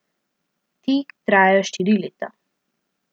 Ti trajajo štiri leta.